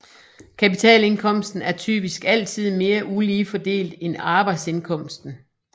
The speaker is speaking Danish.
Kapitalindkomsten er typisk altid mere ulige fordelt end arbejdsindkomsten